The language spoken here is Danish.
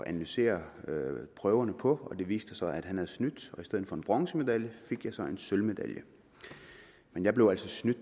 analysere prøverne på og det viste sig at han havde snydt og i stedet for en bronzemedalje fik jeg så en sølvmedalje men jeg blev altså snydt